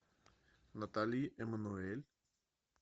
натали эммануэль